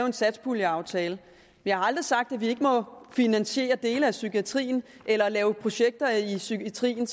en satspuljeaftale jeg har aldrig sagt at vi ikke må finansiere dele af psykiatrien eller lave projekter i psykiatrien